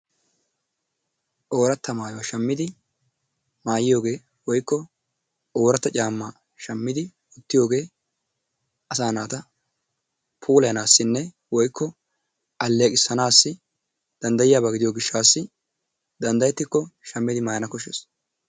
Oorata maayuwa shammidi maayiyoogee woykko ootara caamaa shamidi wottiyoogee asaa naata puulayanaasinne woykko aleeqisanaassi danddayiyaba gidiyo gishaassi danddayetikko shammidi maayana koshshees.